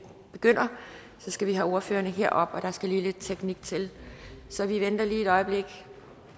begynder skal vi have ordførerne herop og der skal lidt teknik til så vi venter lige et øjeblik